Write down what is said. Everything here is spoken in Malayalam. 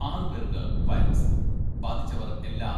ആറുപേർക്ക് വൈറസ് ബാധിച്ചവർ എല്ലാ